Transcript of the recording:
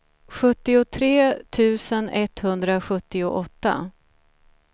sjuttiotre tusen etthundrasjuttioåtta